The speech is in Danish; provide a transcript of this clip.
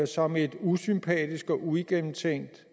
som et usympatisk og uigennemtænkt